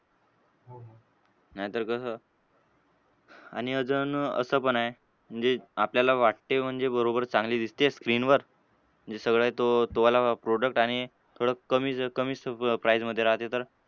नाहीतर कसं आणि अजून असं पण आहे म्हणजे आपल्याला वाटते म्हणजे बरोबर चांगली दिसतेय screen वर. म्हणजे सगळं तो तो वाला product आणि थोडं कमी जर कमी price मधे राहते तर,